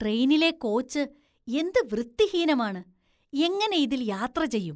ട്രെയിനിലെ കോച്ച് എന്ത് വൃത്തിഹീനമാണ്, എങ്ങനെ ഇതില്‍ യാത്ര ചെയ്യും.